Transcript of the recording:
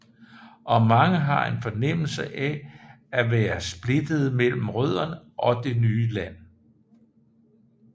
Og mange har en fornemmelse af at være splittede mellem rødderne og det nye land